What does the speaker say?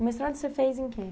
O mestrado você fez em quê?